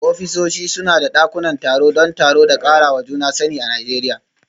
Ofisoshi suna da dakunan taro don taro da karawa juna sani a Najeriya.